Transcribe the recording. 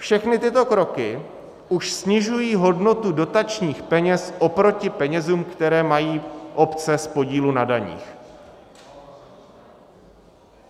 Všechny tyto kroky už snižují hodnotu dotačních peněz oproti penězům, které mají obce z podílu na daních.